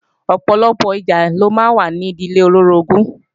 Ọ̀pọ̀lọpọ̀ ìjà ló máa ń wà ní ìdílé olóorogún